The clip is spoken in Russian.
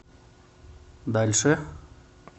дальше